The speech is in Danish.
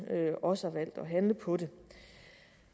også har valgt at handle på den